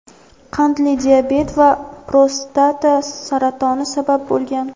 qandli diabet va prostata saratoni sabab bo‘lgan.